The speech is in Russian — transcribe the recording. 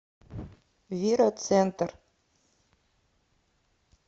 вира центр